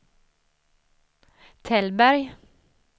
Tällberg